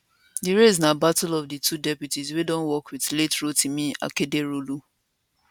di race na battle of di two deputies wey don work wit late rotimi akeredolu